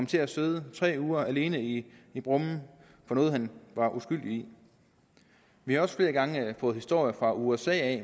til at sidde tre uger alene i brummen for noget han var uskyldig i vi har også flere gange fået historier fra usa